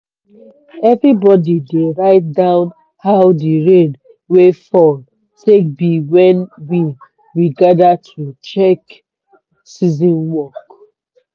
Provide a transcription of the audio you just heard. everybody dey write down how de rain wey fall take be when we we gather to check season work.